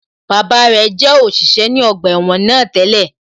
Bàbá rẹ̀ jẹ́ òṣìṣẹ́ ní ọgbà ẹ̀wọ̀n náà tẹ́lẹ̀